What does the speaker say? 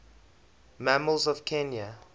mammals of kenya